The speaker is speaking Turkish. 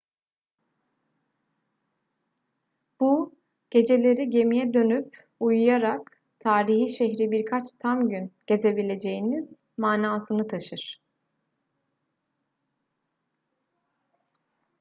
bu geceleri gemiye dönüp uyuyarak tarihi şehri birkaç tam gün gezebileceğiniz manasını taşır